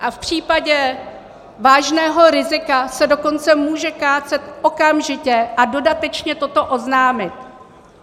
A v případě vážného rizika se dokonce může kácet okamžitě a dodatečně toto oznámit.